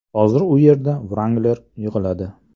Hozir u yerda Wrangler yig‘iladi.